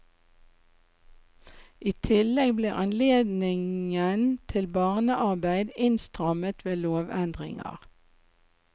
I tillegg ble anledningen til barnearbeid innstrammet ved lovendringer.